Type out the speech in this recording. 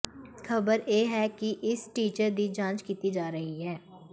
ਖਬਰ ਇਹ ਹੈ ਕਿ ਇਸ ਫੀਚਰ ਦੀ ਜਾਂਚ ਕੀਤੀ ਜਾ ਰਹੀ ਹੈ